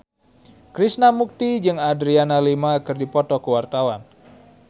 Krishna Mukti jeung Adriana Lima keur dipoto ku wartawan